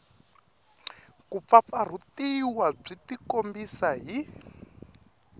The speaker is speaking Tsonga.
ku pfapfarhutiwa byi tikombisa hi